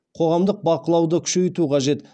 қоғамдық бақылауды күшейту қажет